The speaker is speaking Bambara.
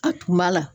A tun b'a la